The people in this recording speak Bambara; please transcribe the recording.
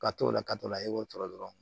Ka t'o la ka to la i b'o tɔɔrɔ dɔrɔn